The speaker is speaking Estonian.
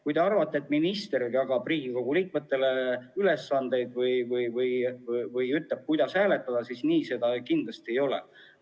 Kui te arvate, et minister jagab Riigikogu liikmetele ülesandeid või ütleb, kuidas hääletada, siis kinnitan, et nii see kindlasti ei ole.